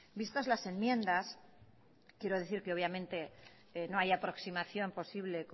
vistas las enmiendas quiero decir que obviamente no hay aproximación posible